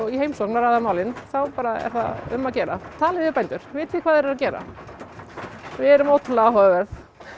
í heimsókn og ræða málin þá bara er það um að gera talið við bændur vitið hvað þeir eru að gera við erum ótrúlega áhugaverð